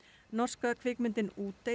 norska kvikmyndin Útey